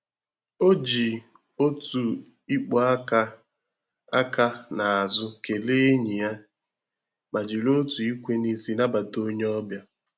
O ji otu ịkpụ aka aka n'azụ kelee enyi ya, ma jiri otu ikwe n'isi nabata onye ọbịa.